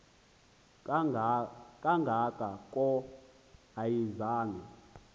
kanga ko ayizange